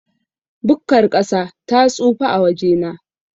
Bukkar ƙasa ta tsufa a wajena.